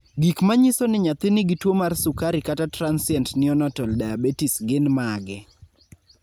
Gik manyiso ni nyathi nigi tuwo mar sukari (Transient neonatal diabetes) gin mage?